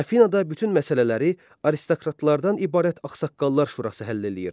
Afinada bütün məsələləri aristokratlardan ibarət ağsaqqallar şurası həll eləyirdi.